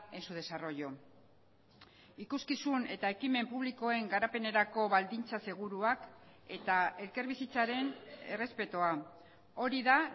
en su desarrollo ikuskizun eta ekimen publikoen garapenerako baldintza seguruak eta elkarbizitzaren errespetua hori da